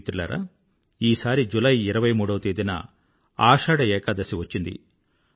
మిత్రులారా ఈసారి జులై ఇరవై మూడవ తేదీన ఆషాఢ ఏకాదశి వచ్చింది